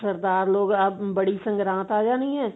ਸਰਦਾਰ ਲੋਕ ah ਬੜੀ ਸੰਗਰਾਤ ਆ ਜਾਣੀ ਹੈ